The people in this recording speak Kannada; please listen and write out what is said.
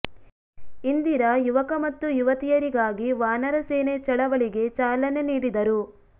ಇಂದಿರಾ ಯುವಕ ಮತ್ತು ಯುವತಿಯರಿಗಾಗಿ ವಾನರ ಸೇನೆ ಚಳವಳಿಗೆ ಚಾಲನೆ ನೀಡಿದರು